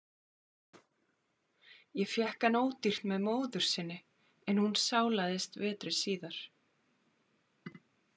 Ég fékk hann ódýrt með móður sinni en hún sálaðist vetri síðar.